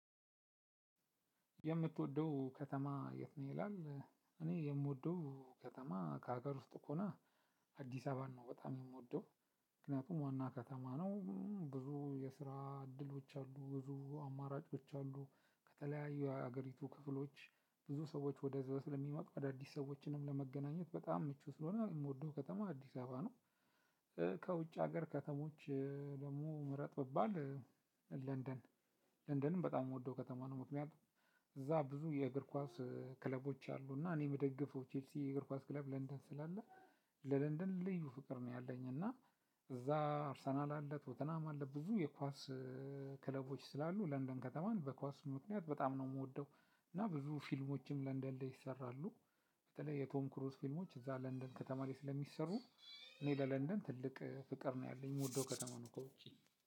የምትወደው ከተማ የቱ? ነው ይላል እኔ የምወደው ከተማ ከሀገር ውስጥ ከሆነ አዲስ አበባን ነው በጣም የምወደው። ምክንያቱም ዋና ከተማ ነው። ብዙ የስራ እድሎች አሉ ብዙ አማራጮች አሉ። ከተለያዩ የአገሪቱ ክፍሎች ብዙ ሰዎች ወደዛው ስለሚመጡ አዳዲስ ሰዎችንም ለመገናኘት በጣም ምቹ ስለሆነ የምወደው ከተማ አዲስ አበባ ነው። ከውጭ ሀገር ከተሞች ደግሞ ምረጥ ብባል። ለንደን ለንደንም በጣም የምወደው ከተማ ነው። ምክንያቱም እዛ ብዙ የእግር ኳስ ክለቦች አሉ። እና እኔ የምደግፈው ቼልሲ የእግር ኳስ ክለብ ለንደን ስላለ ለለንደን ልዩ ፍቅር ነው ያለኝ። እና እዛ አርሰናል አለ ቶተናም አለ ብዙ የኳስ ክለቦች ስላሉ ለንደን ከተማን በኳስ ምክንያት በጣም ነው የምወደው። እና ብዙ ፊልሞችም ለንደን ላይ ይሰራሉ። በተለይ የቶም ክሩዝ ፊልሞች እዛ ለንደን ከተማ ላይ ስለሚሰሩ። እኔ ለለንደን ትልቅ ፍቅር ነው ያለኝ የምወደው ከተማ ነው ከውጪ